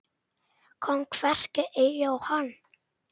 Kom hvergi auga á hana.